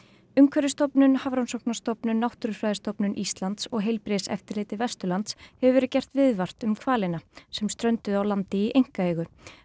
umhverfisstofnun Hafrannsóknastofnun Náttúrufræðistofnun Íslands og heilbrigðiseftirliti Vesturlands hefur verið gert viðvart um hvalina sem strönduðu á landi í einkaeigu